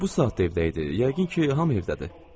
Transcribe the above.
O bu saatda evdə idi, yəqin ki, hamı evdədir.